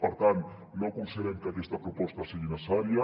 per tant no considerem que aquesta proposta sigui necessària